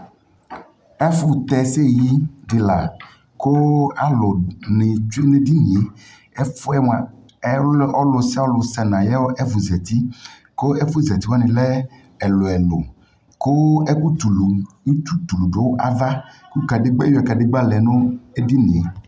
Ɛfo tɛ ɛsɛyi de la ko alu ne tsue ne dinieƐfuɛ moa ɛliɔ, ɔlusialu sɛ na yefo zati ɛluɛlu ko ɛki tulu, utu tulu do ava ko kadegba, ewia kadegba lɛ no edinie